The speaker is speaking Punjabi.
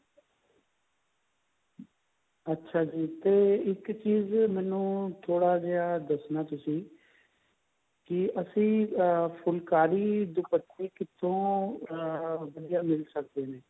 ਅੱਛਾ ਜੀ ਤੇ ਇੱਕ ਚੀਜ ਮੈਨੂੰ ਥੋੜਾ ਜਿਹਾ ਦੱਸਣਾ ਤੁਸੀਂ ਕਿ ਅਸੀਂ ਅਹ ਫੁਲਕਾਰੀ ਦੁਪੱਟੇ ਕਿੱਥੋ ਅਹ ਵਧੀਆ ਮਿਲ ਸਕਦੇ ਨੇ